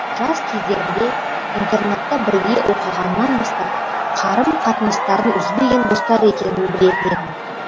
жас кездерінде интернатта бірге оқығанынан бастап қарым қатынастарын үзбеген достар екенін білетін едім